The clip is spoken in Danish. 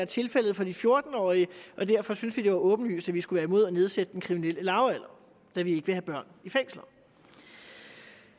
tilfældet for de fjorten årige og derfor synes vi at det var åbenlyst at vi skulle være imod at nedsætte den kriminelle lavalder da vi ikke vil have børn